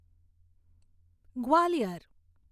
Gwalior